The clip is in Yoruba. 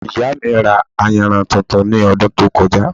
Ìyá mi ra ayanran tuntun ní ọdún tó kọjá